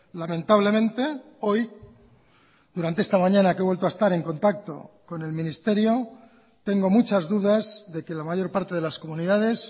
lamentablemente hoy durante esta mañana que he vuelto a estar en contacto con el ministerio tengo muchas dudas de que la mayor parte de las comunidades